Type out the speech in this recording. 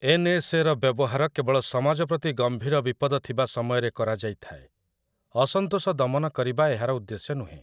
ଏନ୍‌.ଏସ୍‌.ଏ.ର ବ୍ୟବହାର କେବଳ ସମାଜ ପ୍ରତି ଗମ୍ଭୀର ବିପଦ ଥିବା ସମୟରେ କରାଯାଇଥାଏ, ଅସନ୍ତୋଷ ଦମନ କରିବା ଏହାର ଉଦ୍ଦେଶ୍ୟ ନୁହେଁ ।